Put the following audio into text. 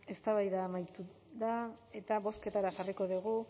eztabaida amaitu da eta bozketara jarriko dugu